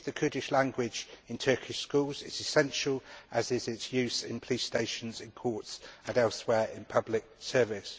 Teaching of the Kurdish language in Turkish schools is essential, as is its use in police stations and courts and elsewhere in public service.